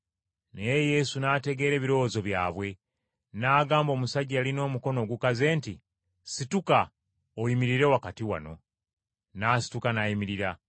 Naye Yesu n’ategeera ebirowoozo byabwe. N’agamba omusajja eyalina omukono ogukaze nti, “Situka oyimirire wakati wano.” N’asituka n’ayimirira.